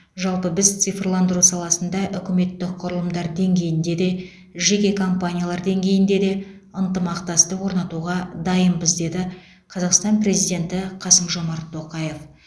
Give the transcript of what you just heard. жалпы біз цифрландыру саласында үкіметтік құрылымдар деңгейінде де жеке компаниялар деңгейінде де ынтымақтастық орнатуға дайынбыз деді қазақстан президенті қасым жомарт тоқаев